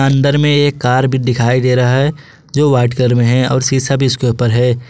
अंदर में एक कार भी दिखाई दे रहा है जो वाइट कलर में है और शिशा भी इसके ऊपर है।